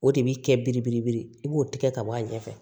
O de bi kɛ biribelebele i b'o tigɛ ka bɔ a ɲɛfɛ